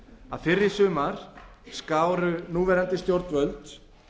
að fyrr í sumar skáru núverandi stjórnvöld